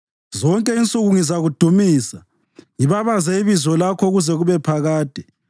Zonke insuku ngizakudumisa ngibabaze ibizo lakho kuze kube phakade.